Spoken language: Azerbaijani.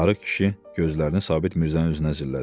Arıq kişi gözlərini Sabit Mirzənin üzünə zillədi.